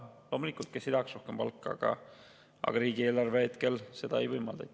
Loomulikult, kes ei tahaks rohkem palka, aga riigieelarve hetkel seda ei võimalda.